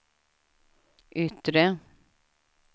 yttre